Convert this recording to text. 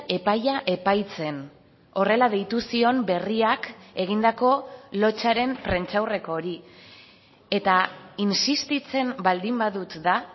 epaia epaitzen horrela deitu zion berriak egindako lotsaren prentsaurreko hori eta insistitzen baldin badut da